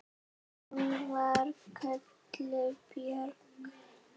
Hún var kölluð Björg.